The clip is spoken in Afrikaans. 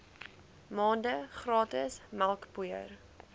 maande gratis melkpoeier